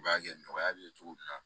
U b'a kɛ nɔgɔya bɛ ye cogo min na